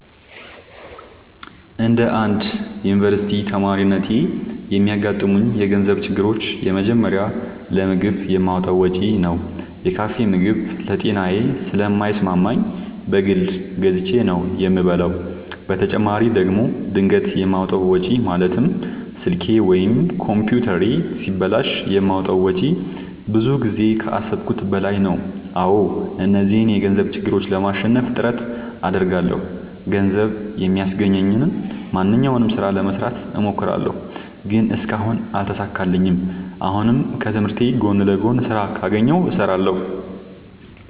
እንደ አንድ ዮኒቨርስቲ ተማሪነቴ የሚያጋጥሙኝ የገንዘብ ችግሮች የመጀመሪያው ለምግብ የማወጣው ወጪ ነው። የካፌ ምግብ ለጤናዬ ስለማይስማማኝ በግል ገዝቼ ነው የምበላው በተጨማሪ ደግሞ ድንገት የማወጣው ወጪ ማለትም ስልኬ ወይም ኮምፒውተሬ ሲበላሽ የማወጣው ወጪ ብዙ ጊዜ ከአሠብኩት በላይ ነው። አዎ እነዚህን የገንዘብ ችግሮች ለማሸነፍ ጥረት አደርጋለሁ። ገንዘብ የሚያስገኘኝን ማንኛውንም ስራ ለመስራት እሞክራለሁ። ግን እስካሁን አልተሳካልኝም። አሁንም ከትምህርቴ ጎን ለጎን ስራ ካገኘሁ እሠራለሁ።